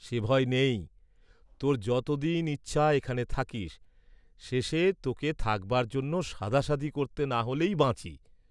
সে ভয় নেই, তোর যত দিন ইচ্ছা এখানে থাকিস্, শেষে তোকে থাকবার জন্য সাধাসাধি করতে না হলেই বাঁচি।